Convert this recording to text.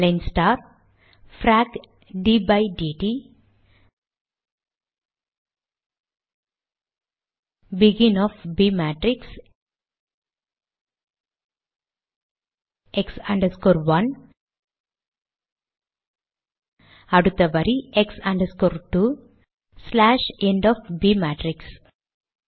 align star bracket by DD begin of b matrix x 1 அடுத்த வரி x 2 end of b matrix